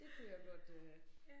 Det kunne jeg godt øh